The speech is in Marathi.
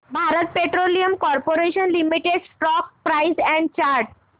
Bharat petroleum corporation limited stock price and chart